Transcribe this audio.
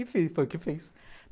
Enfim, foi o que eu fiz.